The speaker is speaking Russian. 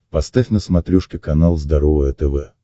поставь на смотрешке канал здоровое тв